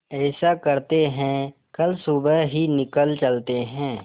ऐसा करते है कल सुबह ही निकल चलते है